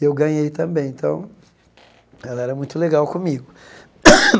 Eu ganhei também, então, ela era muito legal comigo.